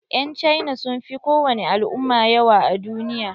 Yan cina sun fi kowani al'umma yawa a duniya.